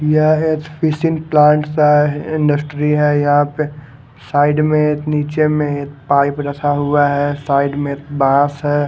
And industry है यहाँ पे साईड में निचे में पाईप रखा हुआ है साईड में बास है ।